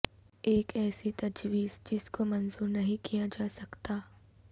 ایک ایسی تجویز جس کو منظور نہیں کیا جاسکتا